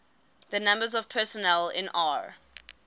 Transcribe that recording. the numbers of personnel in r